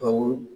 Awɔ